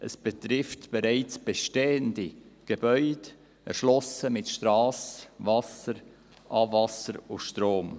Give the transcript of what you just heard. Es betrifft bereits bestehende Gebäude, erschlossen mit Strasse, Wasser, Abwasser und Strom.